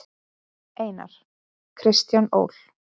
Einar: Kristján Ól.